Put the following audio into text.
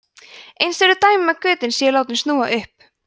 eins eru dæmi um að götin séu látin snúa upp